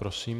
Prosím.